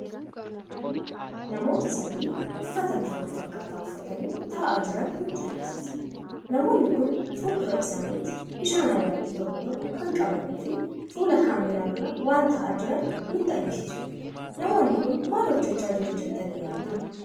Namoota sadii uffata bifa wal_fakkata uffatanii taa'aan nutti agarsiisa. Namoonni kun fulduraa isaaniiti bishaan Ayiilaandii tokko, tokko kan qabanii fi fuula kaameera dura waan taa'aa jiran kan nutti agarsiisudha. Namoonni kun mal hojjechaa jiru jettani yaaddu?